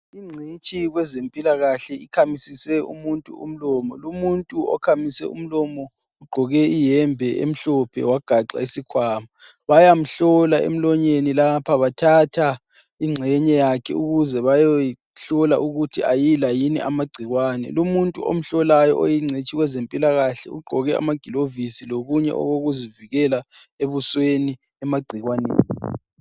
Ingcitshi yekwezempilakahle ikhamisise umuntu umlomo, lumuntu okhamise umlomo ugqoke iyembe emhlophe wagaxa isikhwama. Bayamhlola emlonyeni lapha bathatha ingxenye yakhe ukuze bayeyihlola ukuthi ayila yini amagcikwane lumuntu omhlolayo oyingcitshi kweze mpilakahle ugqoke amagilovisi lokunye okokuzivikela ebusweni emagcikwaneni.